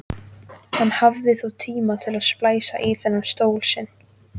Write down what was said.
Hann hafði þó tímt að splæsa í þennan stól sinn.